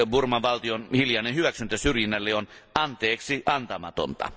Burman valtion hiljainen hyväksyntä syrjinnälle on anteeksiantamatonta.